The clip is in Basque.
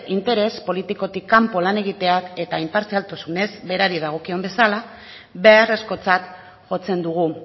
interes politikotik kanpo lan egiteak eta inpartzialtasunez berari dagokien bezala beharrezkotzat jotzen dugu